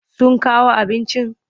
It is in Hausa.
Sun kawo abincin?